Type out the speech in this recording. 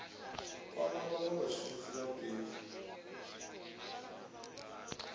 kwama vhanwe vhashumisi vha fhethu